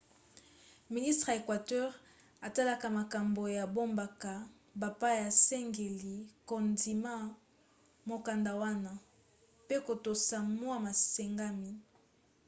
ministre ya equateur atalaka makambo ya bamboka bapaya asengeli kondima mokanda wana pe kotosa mwa masengami